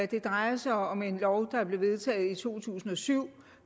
det drejer sig om en lov der blev vedtaget i to tusind og syv